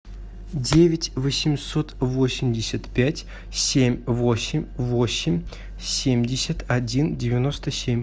девять восемьсот восемьдесят пять семь восемь восемь семьдесят один девяносто семь